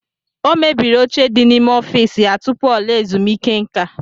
O mebiri oche di n'ime ọfiisi ya tupu ọ laa ezumiike nka.